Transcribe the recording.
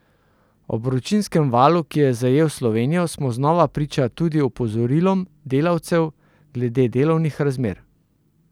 Ob vročinskem valu, ki je zajel Slovenijo, smo znova priča tudi opozorilom delavcev glede delovnih razmer.